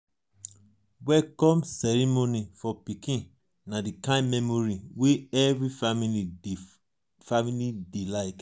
welcome ceremony for pikin na di kind memory wey every family dey family dey like.